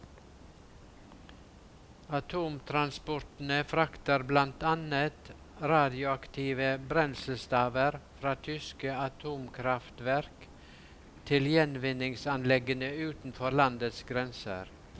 Atomtransportene frakter blant annet radioaktive brenselstaver fra tyske atomkraftverk, til gjenvinningsanleggene utenfor landets grenser.